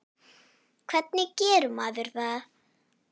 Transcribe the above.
Hvernig gerir maður það?